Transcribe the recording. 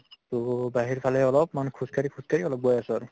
to বাহিৰফালে অলপমান খোজকাঢ়ি খোজকাঢ়ি অলপ গৈ আছো আৰু